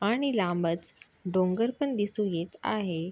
आणि लांबच डोंगर पण दिसू येत आहे.